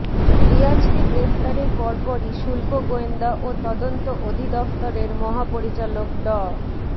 রিয়াজকে গ্রেফতারের পরপরই শুল্ক গোয়েন্দা ও তদন্ত অধিদফতরের মহাপরিচালক ড